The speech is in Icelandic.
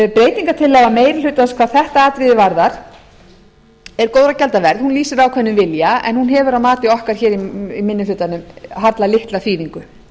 breytingartillaga meiri hlutans hvað þetta atriði varðar er góðra gjalda verð hún lýsir ákveðnum vilja en hún hefur að mati okkar í minni hlutanum harla litla þýðingu